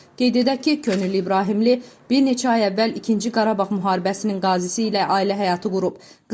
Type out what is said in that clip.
Qeyd edək ki, Könül İbrahimli bir neçə ay əvvəl İkinci Qarabağ müharibəsinin qazisi ilə ailə həyatı qurub.